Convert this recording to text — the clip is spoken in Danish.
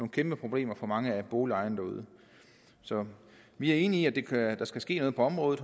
kæmpe problemer for mange af boligejerne derude så vi er enige i at der skal ske noget på området